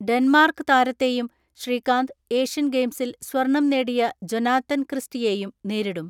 Denmark താരത്തെയും Srikanth Asian ഗെയിംസിൽ സ്വർണം നേടിയ ജൊനാത്തൻ ക്രിസ്റ്റിയെയും നേരിടും.